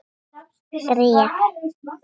Bréf?